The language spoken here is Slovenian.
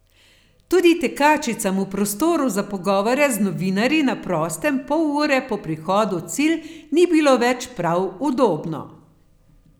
Tudi tekačicam v prostoru za pogovore z novinarji na prostem pol ure po prihodu v cilj ni bilo več prav udobno.